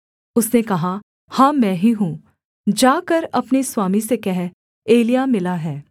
उसने कहा हाँ मैं ही हूँ जाकर अपने स्वामी से कह एलिय्याह मिला है